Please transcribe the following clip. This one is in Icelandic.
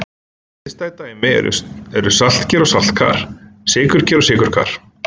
Hliðstæð dæmi eru saltker-saltkar og sykurker-sykurkar.